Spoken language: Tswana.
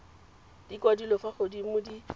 di kwadilwe fa godimo di